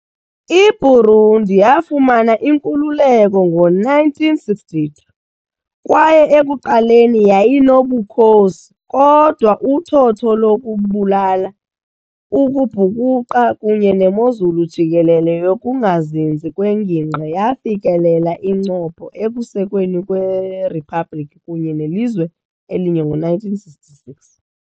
IBurundi yafumana inkululeko ngo-1962 kwaye ekuqaleni yayinobukhosi, kodwa uthotho lokubulala, ukubhukuqa kunye nemozulu jikelele yokungazinzi kwengingqi yafikelela incopho ekusekweni kweriphabliki kunye nelizwe elinye ngo-1966.